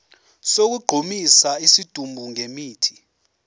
sokugqumisa isidumbu ngemithi